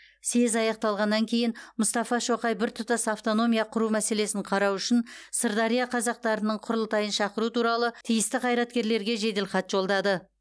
съезд аяқталғаннан кейін мұстафа шоқай біртұтас автономия құру мәселесін қарау үшін сырдария қазақтарының құрылтайын шақыру туралы тиісті қайраткерлерге жеделхат жолдады